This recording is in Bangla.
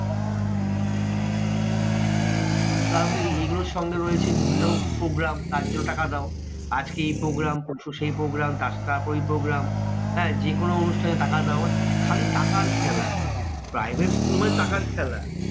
তারপরে এগুলোর সঙ্গে রয়েছে বিভিন্ন রকমের programme তার জন্য টাকা দাও। আজকে এই programme পরশু সেই programme তারসাথে তারপরেই programme. হ্যাঁ যেকোনো অনুষ্ঠানে টাকার ব্যাপার। খালি টাকার খেলা। private school মানে টাকার খেলা।